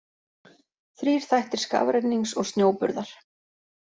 Þrír þættir skafrennings og snjóburðar.